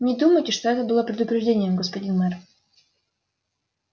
не думайте что это было предупреждением господин мэр